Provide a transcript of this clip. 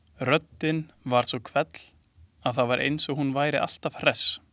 Röddin var svo hvell að það var eins og hún væri alltaf hress.